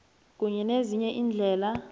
kunye nezinye iindlela